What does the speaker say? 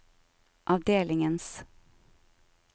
avdelingens